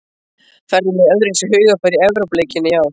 Ferðu með öðruvísi hugarfari í Evrópuleikina í ár?